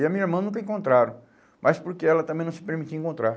E a minha irmã nunca encontraram, mas porque ela também não se permitia encontrar.